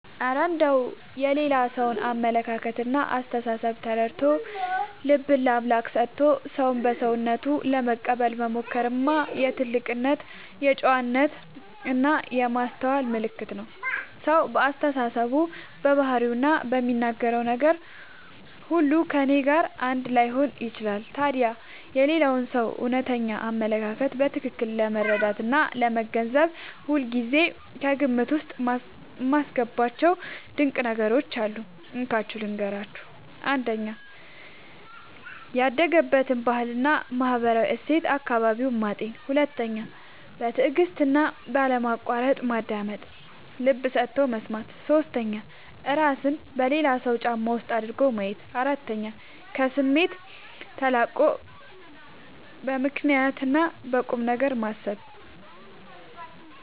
እረ እንደው የሌላ ሰውን አመለካከትና አስተሳሰብ ተረድቶ፣ ልብን ለአምላክ ሰጥቶ ሰውን በሰውነቱ ለመቀበል መሞከርማ የትልቅ ጨዋነትና የማስተዋል ምልክት ነው! ሰው በአስተሳሰቡ፣ በባህሪውና በሚናገረው ነገር ሁሉ ከእኔ ጋር አንድ ላይሆን ይችላል። ታዲያ የሌላውን ሰው እውነተኛ አመለካከት በትክክል ለመረዳትና ለመገንዘብ ሁልጊዜ ከግምት ውስጥ የማስገባቸው ድንቅ ነገሮች አሉ፤ እንካችሁ ልንገራችሁ - 1. ያደገበትን ባህልና ማህበራዊ እሴት (አካባቢውን) ማጤን 2. በትዕግስትና ባለማቋረጥ ማዳመጥ (ልብ ሰጥቶ መስማት) 3. እራስን በሌላው ሰው ጫማ ውስጥ አድርጎ ማየት 4. ከስሜት ተላቆ በምክንያትና በቁምነገር ማሰብ